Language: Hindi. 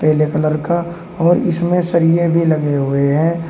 पीले कलर का और इसमें सरिये भी लगे हुए हैं।